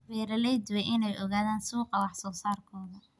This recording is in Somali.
Beeraleydu waa inay ogaadaan suuqa wax soo saarkooda.